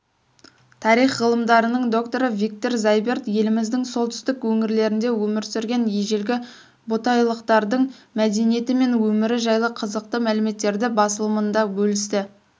тарих ғылымдарының докторы виктор зайберт еліміздің солтүстік өңірлерінде өмір сүрген ежелгі ботайлықтардың мәдениеті мен өмірі жайлы қызықты мәліметтерді басылымында бөлісті